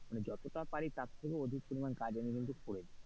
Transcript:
যতটা পারি তার থেকেও অধিক পরিমান কাজ আমি কিন্তু করে দি।